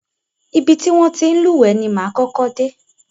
Ibi ti wọn ti ń lúwẹ̀ẹ́ ni máa kọ́kọ́ dé.